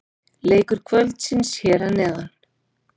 Leikir kvöldsins hér að neðan: